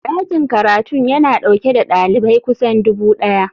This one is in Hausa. Dakin karatun yana dauke da dalibai kusan dubu daya.